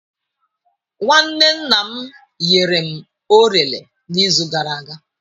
Nwanne nna m nyere m orele n'izu gara aga.